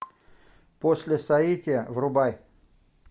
после соития врубай